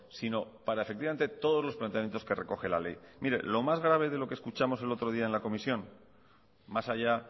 sino para efectivamente todos los planteamientos que recoge la ley mire lo más grave que de que escuchamos el otro día en la comisión más allá